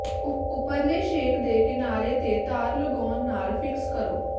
ਉਪਰਲੇ ਛੇਕ ਦੇ ਕਿਨਾਰੇ ਤੇ ਤਾਰ ਲਗਾਉਣ ਨਾਲ ਫਿਕਸ ਕਰੋ